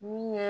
Min ye